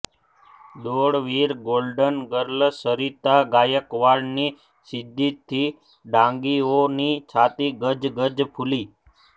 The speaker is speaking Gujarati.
દોડવીર ગોલ્ડન ગર્લ સરિતા ગાયકવાડની સિદ્ધિથી ડાંગીઓની છાતી ગજ ગજ ફૂલી